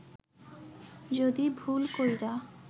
যুদি ভুল কইরা